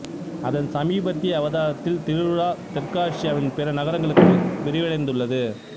அதன் சமீபத்திய அவதாரத்தில் திருவிழா தெற்காசியாவின் பிற நகரங்களுக்கும் விரிவடைந்துள்ளது